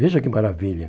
Veja que maravilha.